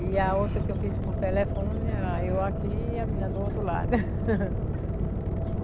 E a outra que eu fiz por telefone era eu aqui e a menina do outro lado.